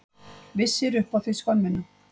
Vissir upp á þig skömmina.